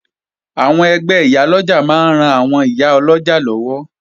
Àwọn ẹgbẹ́ Ìyálọ́jà máa ń ran àwọn ìyá ọlọ́jà lọ́wọ́